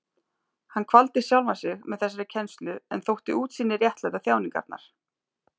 Hann kvaldi sjálfan sig með þessari kennslu en þótti útsýnið réttlæta þjáningarnar.